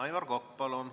Aivar Kokk, palun!